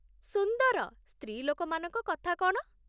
ସୁନ୍ଦର। ସ୍ତ୍ରୀଲୋକମାନଙ୍କ କଥା କ'ଣ?